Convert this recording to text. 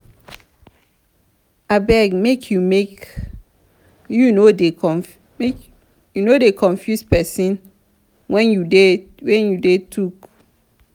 abeg make you make you no dey confuse pesin wen you dey tok.